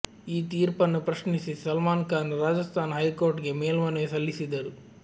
ಈ ತೀರ್ಪನ್ನು ಪ್ರಶ್ನಿಸಿ ಸಲ್ಮಾನ್ ಖಾನ್ ರಾಜಸ್ಥಾನ ಹೈಕೋರ್ಟ್ಗೆ ಮೇಲ್ಮನವಿ ಸಲ್ಲಿಸಿದ್ದರು